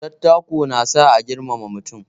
Dattako na sa a girmama mutum.